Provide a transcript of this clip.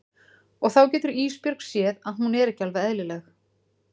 Og þá getur Ísbjörg séð að hún er ekki alveg eðlileg.